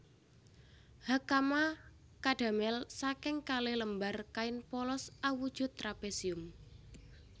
Hakama kadamel saking kalih lembar kain polos awujud trapesium